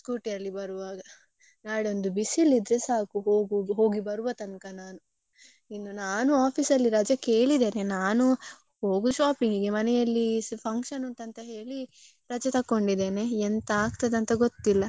ಹೋಗು~ ಹೋಗಿ ಬರ್ವ ತನ್ಕಾ ನಾನು ಇನ್ನು ನಾನು office ಅಲ್ಲಿ ರಜೆ ಕೇಳಿದ್ದೇನೆ. ನಾನು ಹೋಗುದು shopping ಇಗೆ ಮನೆಯಲ್ಲಿ function ಉಂಟಂತ ಹೇಳಿ ರಜೆ ತಕ್ಕೊಂಡಿದೇನೆ ಎಂತ ಆಗ್ತದೆ ಅಂತ ಗೊತ್ತಿಲ್ಲ.